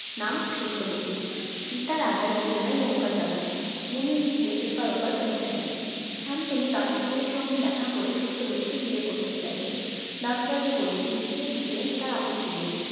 নাম সত্যবতী পিতার আজ্ঞায় যমুনায় নৌকা চালান মুনি ঋষিদের এপার ওপার পৌঁছে দেন শান্তনু দাস রাজের সঙ্গে দেখা করে সত্যবতীকে বিয়ে করতে চাইলেন দাস রাজা বললেন বিয়ে দিতে তার আপত্তি নেই